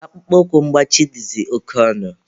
Akpụkpọ ụkwụ mgbachi dịzị oke ọnụ.